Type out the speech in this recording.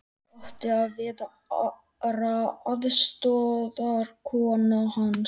Ég átti að vera aðstoðarkona hans.